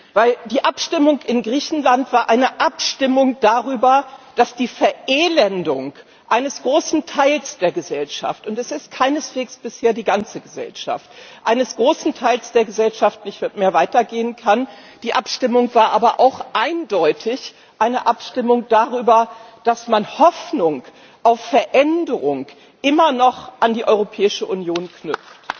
Denn die Abstimmung in Griechenland war eine Abstimmung darüber, dass die Verelendung eines großen Teils der Gesellschaft und es ist keineswegs bisher die ganze Gesellschaft nicht mehr weitergehen kann. Die Abstimmung war aber auch eindeutig eine Abstimmung darüber, dass man Hoffnung auf Veränderung immer noch an die Europäische Union knüpft.